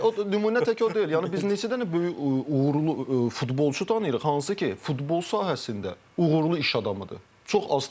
Tək o nümunə tək o deyil, yəni biz neçə dənə böyük uğurlu futbolçu tanıyırıq, hansı ki, futbol sahəsində uğurlu iş adamıdır.